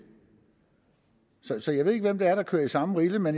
så jeg ved ikke hvem det er der kører i samme rille men